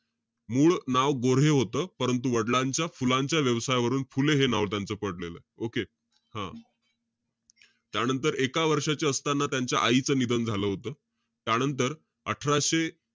मूळ नाव गोऱ्हे होतं. परंतु वडलांच्या फुलांच्या व्यवसायावरून फुले हे नाव त्यांचं पडलेलं. Okay हं. त्यानंतर एका वर्षाचे असताना त्यांच्या आईचं निधन झालं होतं. त्यानंतर, अठराशे,